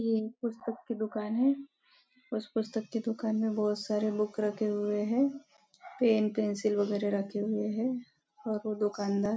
ये पुस्तक की दुकान है उस पस्तक की दुकान में बहुत सारे बुक रखे हुए है पेन पेन्सिल रखे है और ओह दुकानदार --